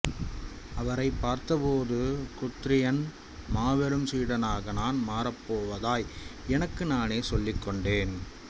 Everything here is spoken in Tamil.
அவரை பார்த்தபோது குத்ரியின் மாபெரும் சீடனாக நான் மாறப் போவதாய் எனக்கு நானே சொல்லிக் கொண்டேன்